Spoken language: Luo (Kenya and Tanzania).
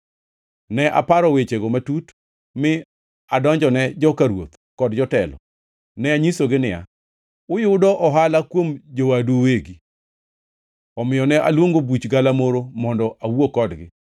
Ne aparo wechego matut mi adonjone joka ruoth kod jotelo. Ne anyisogi niya, “Uyudo ohala kuom jowadu uwegi!” Omiyo ne aluongo buch galamoro mondo awuo kodgi,